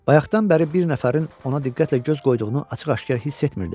Bayaqdan bəri bir nəfərin ona diqqətlə göz qoyduğunu açıq-aşkar hiss etmirdi.